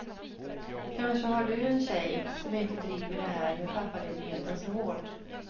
Kanske har du en tjej som inte driver det här med pappaledigheten så hårt.